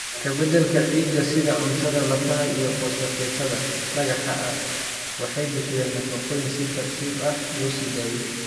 Wax ka beddelka ciidda sida cuntada lafaha iyo fosfatetada dhagaxa ah waxay bixiyaan nafaqooyin si tartiib ah loo sii daayo.